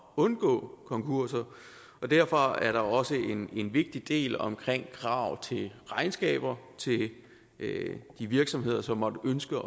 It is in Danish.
undgå konkurser og derfor er der også en vigtig del omkring krav til regnskaber til de virksomheder som måtte ønske